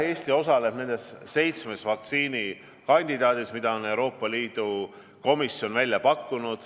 Eesti osaleb nendes seitsme vaktsiinikandidaadi ühishankeprotsessis, mida Euroopa Liidu komisjon on välja pakkunud.